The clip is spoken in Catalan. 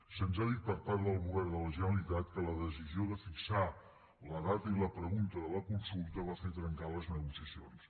se’ns ha dit per part del govern de la generalitat que la decisió de fixar la data i la pregunta de la consulta va fer trencar les negociacions